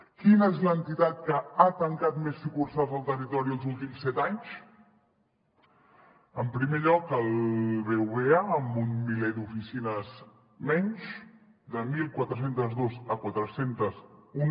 quina és l’entitat que ha tancat més sucursals al territori els últims set anys en primer lloc el bbva amb un miler d’oficines menys de catorze zero dos a quatre cents i un